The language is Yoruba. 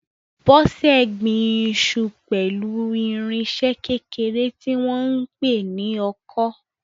Bose gbin iṣu pẹ̀lú irinṣẹ́ kékeré tí wọ́n ń pè ní ọkọ́.